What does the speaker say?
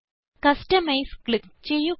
customise click ചെയ്യുക